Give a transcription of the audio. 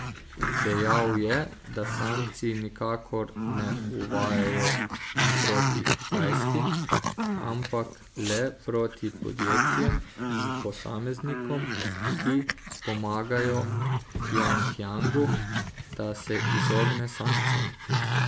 Dejal je, da sankcij nikakor ne uvajajo proti Kitajski, ampak le proti podjetjem in posameznikom, ki pomagajo Pjongjangu, da se izogne sankcijam.